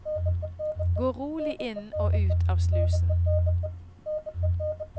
Gå rolig inn og ut av slusen.